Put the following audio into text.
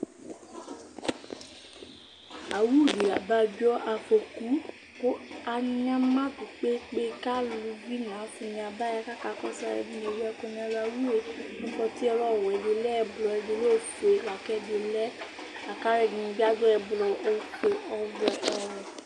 Awu ɖi la aɖu afoku kʋ anyamaɖu kpekpe kʋ aluvi ŋu ɔsi abaya kakɔsu Aluɛɖìŋí ewu ɛku ŋu ɛlu Awue aɖu ɔwɛ, ɔƒʋe, ɔwɛ kʋ alʋɛdìní bi aɖu ɔfʋe, ɛblɔ, ɔwɛ